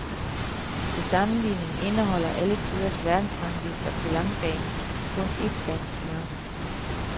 Til sammenligning indeholder alle tiders verdensranglister på langbane kun et dansk navn.